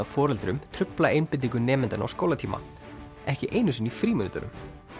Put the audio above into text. foreldrum trufla einbeitingu nemendanna á skólatíma ekki einu sinni í frímínútunum